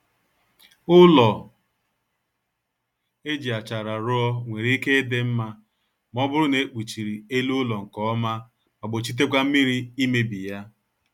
Ụlọ e ji achara ruo nwere ike ịdị nma ma ọ bụrụ na e kpuchiri ele ụlọ nkọma ma gbochitekwa mmiri imebi ya